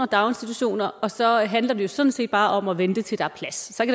daginstitutioner og så handler det sådan set bare om at vente til der er plads